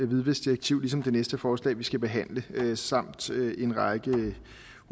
hvidvaskdirektiv ligesom det næste forslag vi skal behandle samt en række